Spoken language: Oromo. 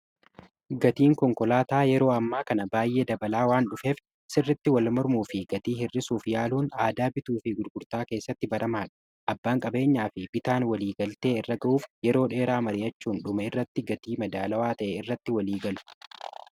gatiin konkolaataa yeroo ammaa kana baay'ee dabalaa waan dhufeef, sirritti wal mormuu fi gatii hirrisuuf yaaluun aadaa bituu fi gurgurtaa keessatti baramaadha. abbaan qabeenyaa fi bitaan walii galtee irra ga'uuf yeroo dheeraa mari, achuun dhuma irratti gatii madaalawaa ta'e irratti waliigalu.